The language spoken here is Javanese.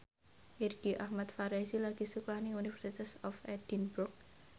Irgi Ahmad Fahrezi lagi sekolah nang University of Edinburgh